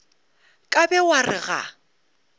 ka be wa re ga